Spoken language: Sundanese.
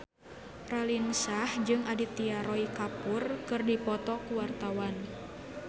Raline Shah jeung Aditya Roy Kapoor keur dipoto ku wartawan